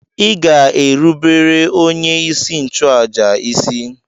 Ị ga-erubere onyeisi nchụàjà isi!